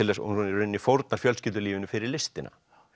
hún í rauninni fórnar fjölskyldulífinu fyrir listina